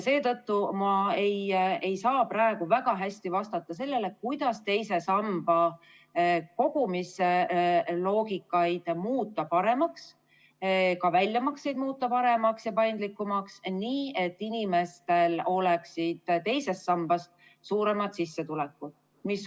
Seetõttu ma ei saa praegu väga hästi vastata sellele, kuidas teise samba kogumise loogikat paremaks muuta või kuidas teha väljamakseid paremaks ja paindlikumaks, nii et inimestel oleksid teisest sambast suuremad sissetulekud.